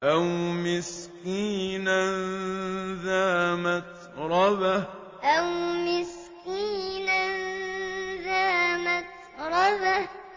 أَوْ مِسْكِينًا ذَا مَتْرَبَةٍ أَوْ مِسْكِينًا ذَا مَتْرَبَةٍ